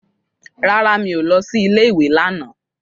Rárá, mi ò lọ sí ilé ìwé lánàá.